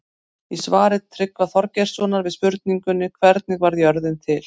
Í svari Tryggva Þorgeirssonar við spurningunni Hvernig varð jörðin til?